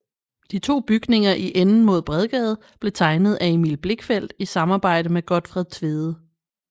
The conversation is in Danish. De to bygninger i enden mod Bredgade blev tegnet af Emil Blichfeldt i samarbejde med Gotfred Tvede